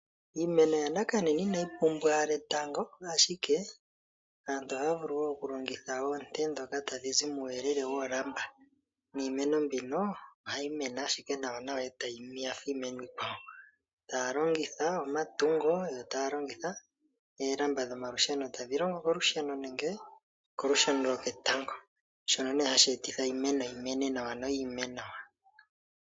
Iimeno yanakanena inayi pumbwa oonte dhetango, aantu ohaa vulu okulongitha oolamba. Niimeno mbino ohayi mene ashike nawanawa fa fa iimeno iikwawo taa longitha omatungo yo taa longitha oolamba dhomalusheno tadhi longo olusheno nenge kolusheno lwoketango shono hashi etitha iimeno yi mene nawa noyi ime nawa.